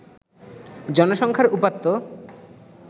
জনসংখ্যার উপাত্ত